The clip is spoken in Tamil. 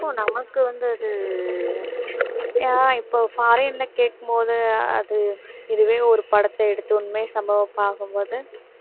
இப்போ நமக்கு வந்து அது அஹ் இப்போ foreign ல கேட்கும்போது அது இதுவே ஒரு படத்தை எடுத்த உண்மை சம்பவமா பார்க்கும் போது